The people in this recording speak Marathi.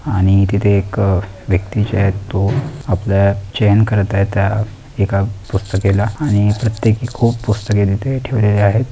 आणि तिथे एक व्यक्ती जे आहेत तो आपल्या चैन करत आहे त्या एका पुस्तकेला आणि प्रत्येकी खूप पुस्तके तिथे ठेवलेले आहेत.